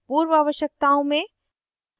पूर्व आवश्यकताओं में